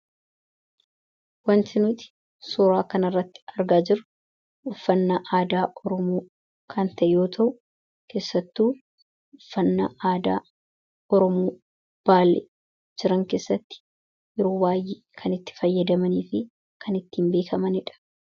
Wanti suuraa kana irratti mullatu uuffata aadaa dha. Kunis faayidaa madaalamuu hin dandeenye fi bakka bu’iinsa hin qabne qaba. Jireenya guyyaa guyyaa keessatti ta’ee, karoora yeroo dheeraa milkeessuu keessatti gahee olaanaa taphata. Faayidaan isaa kallattii tokko qofaan osoo hin taane, karaalee garaa garaatiin ibsamuu danda'a.